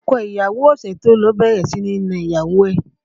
Ọkọ ìyàwó ọ̀sẹ̀ tó lọ ti bẹ̀rẹ̀ sí ní na ìyàwó